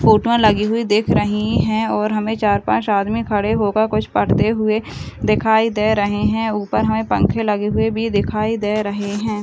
Photo लगी हुई दिख रही है और हमे चार पांच आदमी खड़े होकर कुछ पढ़ते हुए दिखाई दे रहे हैं ऊपर हमे पंखे लगे हुए भी दिखाई दे रहे हैं ।